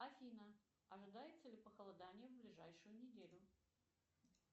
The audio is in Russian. афина ожидается ли похолодание в ближайшую неделю